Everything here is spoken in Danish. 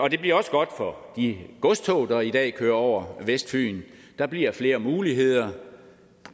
det bliver også godt for de godstog der i dag kører over vestfyn der bliver flere muligheder